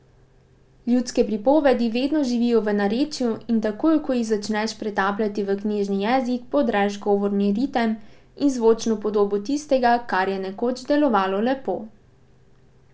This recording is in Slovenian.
Ljudske pripovedi vedno živijo v narečju in takoj, ko jih začneš pretapljati v knjižni jezik, podreš govorni ritem in zvočno podobo tistega, kar je nekoč delovalo lepo.